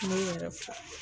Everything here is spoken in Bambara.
N bɛ yɛrɛ fo.